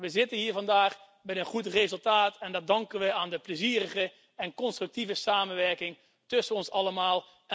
We zitten hier vandaag met een goed resultaat en dat danken we aan de plezierige en constructieve samenwerking tussen ons allemaal.